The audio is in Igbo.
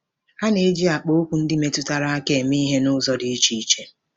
A na-eji akpaokwu ndị metụtara aka eme ihe n'ụzọ dị iche iche.